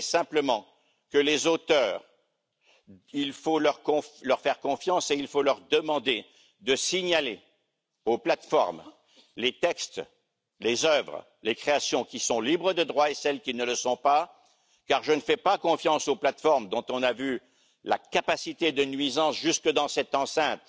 Je dirai simplement qu'il faut faire confiance aux auteurs et leur demander de signaler aux plateformes, les textes, les œuvres, les créations qui sont libres de droits, et ceux qui ne le sont pas, car je ne fais pas confiance aux plateformes dont on a vu la capacité de nuisance jusque dans cette enceinte